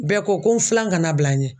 Bɛɛ ko ko n filan kana bila n ɲɛ.